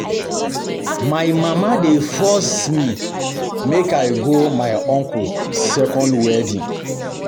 My mama dey force me make I go my uncle second wedding